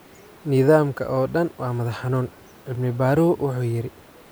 Nidaamka oo dhan waa madax xanuun, cilmi-baaruhu wuxuu yiri.